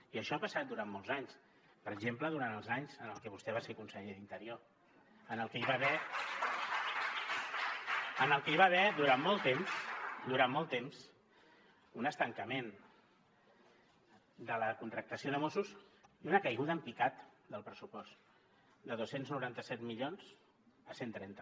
i això ha passat durant molts anys per exemple durant els anys en els que vostè va ser conseller d’interior en els que hi va haver durant molt temps durant molt temps un estancament de la contractació de mossos i una caiguda en picat del pressupost de dos cents i noranta set milions a cent i trenta